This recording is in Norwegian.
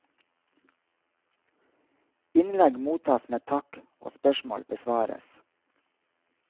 Innlegg mottas med takk og spørsmål besvares.